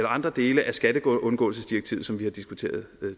andre dele af skatteundgåelsesdirektivet som vi har diskuteret